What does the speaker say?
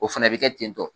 O fana bɛ kɛ ten tɔ